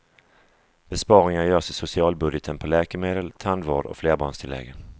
Besparingar görs i socialbudgeten på läkemedel, tandvård och flerbarnstilläggen.